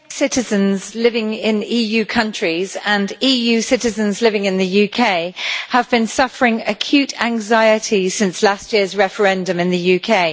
Mr President, British citizens living in EU countries and EU citizens living in the UK have been suffering acute anxiety since last year's referendum in the UK.